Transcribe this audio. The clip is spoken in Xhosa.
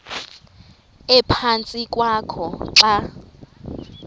ephantsi kwakho xa